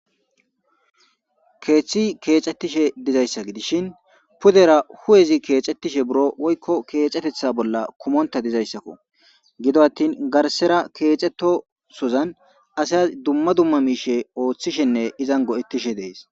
keeththi keexettishe dizayssa gidishin pudera hu'ezi keexettishe buro woykko keexetetha bolla kumontta dizayssakko. gido attin garssera keexettosozan asa dumma dumma miishe ooththishenne izan go7ettishe dees.